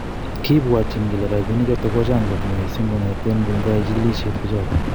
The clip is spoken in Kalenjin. kipwotin kele rapinichoton ko chang kot missing kongeten ingoya chikilisiet pichoton.